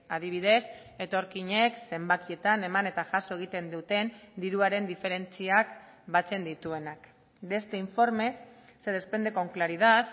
adibidez etorkinek zenbakietan eman eta jaso egiten duten diruaren diferentziak batzen dituenak de este informe se desprende con claridad